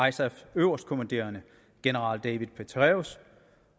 isafs øverstkommanderende general david petraeus